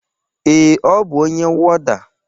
Ee,ọ bụ onye wọda